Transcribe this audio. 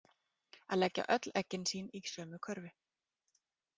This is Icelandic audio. Að leggja öll eggin sín í sömu körfu